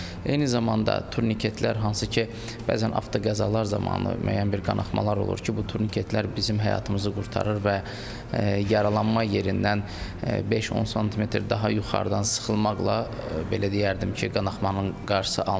Eyni zamanda turniketlər, hansı ki, bəzən avtoqəzalar zamanı müəyyən bir qanaxmalar olur ki, bu turniketlər bizim həyatımızı qurtarır və yaralanma yerindən 5-10 sm daha yuxarıdan sıxılmaqla, belə deyərdim ki, qanaxmanın qarşısı alınır.